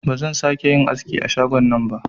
Ba zan sa ke yin aski a shagon nan ba